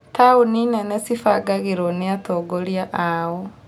Taũni nene cibangagĩrwo nĩ atongoria ao